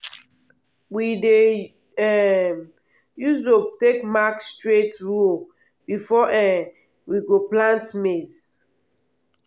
we dey um use rope take mark straight row before um we go plant maize.